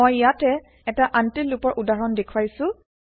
মই ইয়াতে এটা আনতিল্ লুপৰ উদাহৰণ দেখুৱাইছো